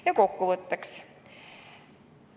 Ja kokkuvõtteks.